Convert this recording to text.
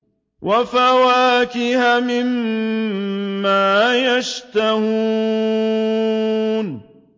وَفَوَاكِهَ مِمَّا يَشْتَهُونَ